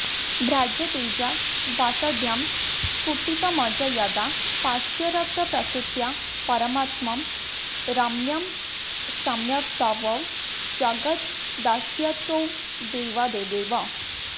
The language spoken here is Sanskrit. भ्राजत्तेजा व्यधास्त्वं स्फुटितमज यदा पार्श्वरक्तप्रसृत्या पारम्यं रम्य सम्यक्तव जगदवदत्सत्तदैवादिदेव